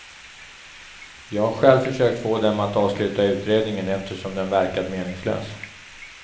Jag har själv försökt få dem att avsluta utredningen eftersom den verkat meningslös.